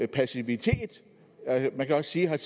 passivitet man kan også sige at